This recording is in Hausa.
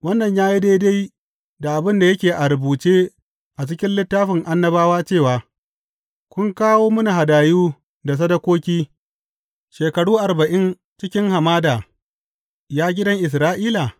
Wannan ya yi daidai da abin da yake a rubuce a cikin littafin annabawa cewa, Kun kawo mini hadayu da sadakoki shekaru arba’in cikin, hamada, ya gidan Isra’ila?